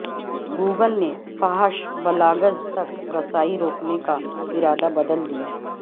Google نے فحش blogs تک رسائی روکنے کا ارادہ بدل دیا